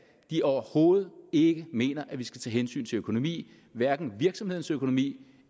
overhovedet ikke mener at vi skal tage hensyn til økonomi hverken virksomhedens økonomi